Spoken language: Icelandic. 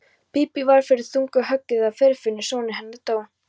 Bíbí varð fyrir þungu höggi þegar Friðfinnur sonur hennar dó.